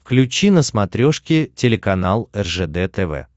включи на смотрешке телеканал ржд тв